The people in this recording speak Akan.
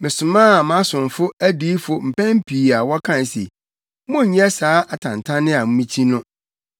Mesomaa mʼasomfo adiyifo mpɛn pii a wɔkae se, ‘Monnyɛ saa atantanne a mikyi no!’